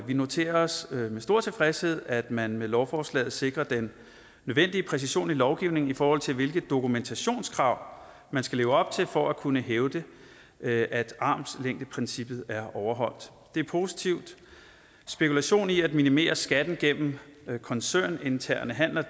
vi noterer os med stor tilfredshed at man med lovforslaget sikrer den nødvendige præcision i lovgivningen i forhold til hvilke dokumentationskrav man skal leve op til for at kunne hævde at at armslængdeprincippet er overholdt det er positivt spekulation i at minimere skatten gennem koncerninterne handler